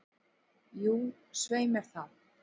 Jú, svei mér þá.